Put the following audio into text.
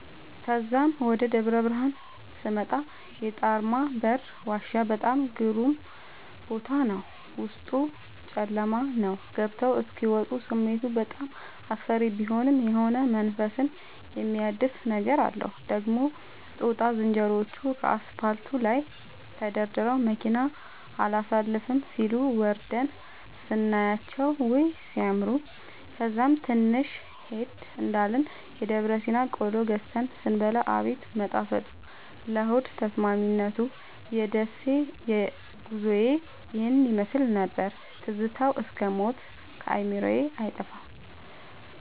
ተዛም ወደ ደብረብርሀን ስመጣ የጣርማበር ዋሻ በጣም ግሩም ቦታ ነበር፤ ዉስጡ ጨለማ ነዉ ገብተዉ እስኪ ወጡ ስሜቱ በጣም አስፈሪ ቢሆንም የሆነ መንፈስን የሚያድስ ነገር አለዉ። ደግሞ ጦጣ ዝንሮዎቹ ከአስፓልቱ ላይ ተደርድረዉ መኪና አላሣልፍም ሢሉ፤ ወርደን ስናያቸዉ ዉይ! ሢያምሩ። ከዛም ትንሽ ሄድ እንዳልን የደብረሲና ቆሎ ገዝተን ስንበላ አቤት መጣፈጡ ለሆድ ተስማሚነቱ። የደሴ ጉዞዬ ይህን ይመሥል ነበር። ትዝታዉ እስክ ሞት ከአዕምሮየ አይጠፋም።